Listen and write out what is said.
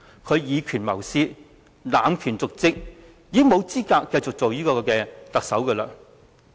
他以權謀私和濫權瀆職，已經沒有資格繼續擔任特首。